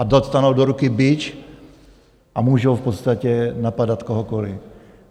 Oni dostanou do ruky bič a můžou v podstatě napadat kohokoliv.